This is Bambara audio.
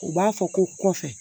U b'a fɔ ko kɔfɛ